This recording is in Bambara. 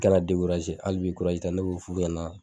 Kana hali bi ta ne b'o f'u yana